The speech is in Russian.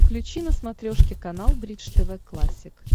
включи на смотрешке канал бридж тв классик